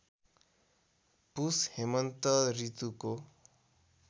पुष हेमन्तऋतुको